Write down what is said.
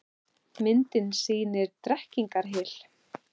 Myndin sýnir Drekkingarhyl.